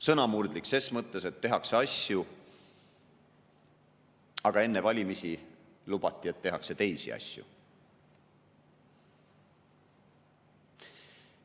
Sõnamurdlik ses mõttes, et tehakse asju, aga enne valimisi lubati, et tehakse teisi asju.